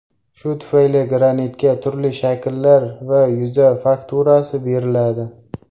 Shu tufayli granitga turli shakllar va yuza fakturasi beriladi.